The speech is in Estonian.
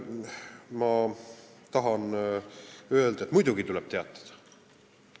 Ma tahan öelda, et muidugi tuleb kuritegudest teatada.